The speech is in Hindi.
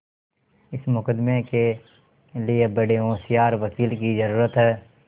इस मुकदमें के लिए बड़े होशियार वकील की जरुरत है